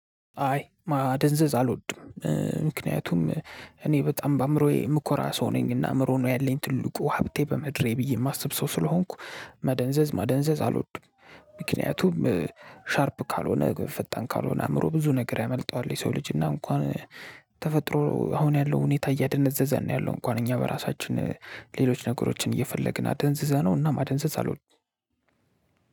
አይ ማደንዘዝ አልወድም ምክንያቱም እኔ በጣም በአእምሮዬ ምኮራ ሰው ነኝ እና አእምሮ ነው ያለኝ ትልቁ ሀብቴ በምድሬ ብዬ የማስብ ሰው ስለሆንኩ። መደንዘዝ ማደንዘዝ አልወድም ምክንያቱም ሻርፕ ካልሆነ ፈጣን ካልሆነ አእምሮ ብዙ ነገር ያመልጠዋል። የሰው ልጅ እና እንኳን ተፈጥሮ አሁን ያለው ሁኔታ እያደነዘዘን ነው ያለው። እንኳን እኛ በራሳችን ሌሎች ነገሮችን እየፈለግን አደንዝዘነው እና ማደንዘዝ አልወድም።